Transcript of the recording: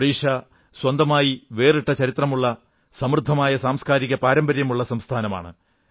ഒഡിഷ സ്വന്തമായി വേറിട്ട ചരിത്രമുള്ള സമൃദ്ധമായ സാസ്കാരിക പാരമ്പര്യമുള്ള സംസ്ഥാനമാണ്